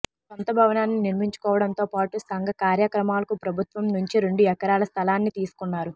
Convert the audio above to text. సొంత భవనాన్ని నిర్మించుకోవడంతో పాటు సంఘ కార్యక్రమాలకు ప్రభుత్వం నుంచి రెండు ఎకరాల స్థలాన్ని తీసుకున్నారు